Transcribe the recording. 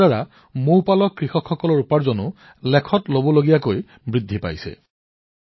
ই কৃষকসকলৰ উপাৰ্জনো বৃদ্ধি কৰিছে